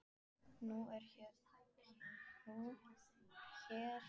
Hér er hún drottning í sínum dal.